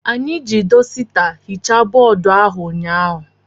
Anyị ji dọsita hichaa bọọdụ ụnyaahụ.